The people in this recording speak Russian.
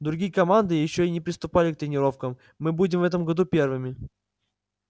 другие команды ещё и не приступали к тренировкам мы будем в этом году первыми